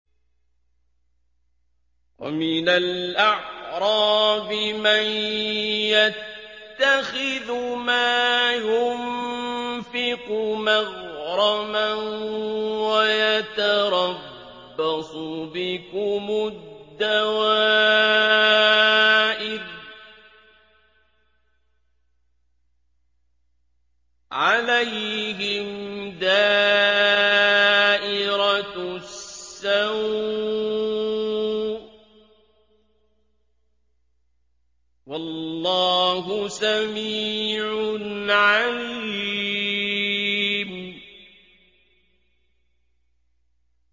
وَمِنَ الْأَعْرَابِ مَن يَتَّخِذُ مَا يُنفِقُ مَغْرَمًا وَيَتَرَبَّصُ بِكُمُ الدَّوَائِرَ ۚ عَلَيْهِمْ دَائِرَةُ السَّوْءِ ۗ وَاللَّهُ سَمِيعٌ عَلِيمٌ